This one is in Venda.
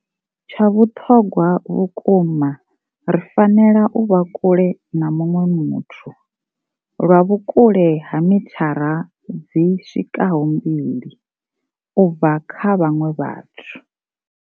Tsha vhuṱhogwa vhukuma, ri fanela u vha kule na muṅwe muthu lwa vhukule ha mithara dzi swikaho mbili u bva kha vhaṅwe vhathu.